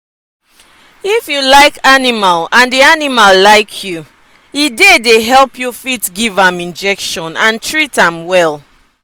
if you like animal and di animal like you e dey dey help you fit give am injection and treat am well.